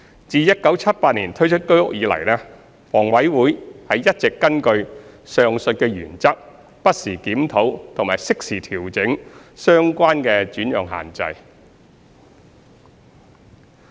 自1978年推出居屋以來，房委會一直根據上述原則，不時檢討並適時調整相關的轉讓限制。